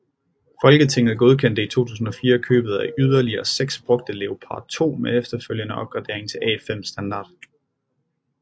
Folketinget godkendte i 2004 købet af yderligere 6 brugte Leopard 2 med efterfølgende opgradering til A5 standard